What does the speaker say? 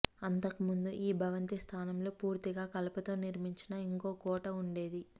అంతకు ముందు ఈ భవంతి స్థానంలో పూర్తిగా కలపతో నిర్మించిన ఇంకో కోట ఉండేది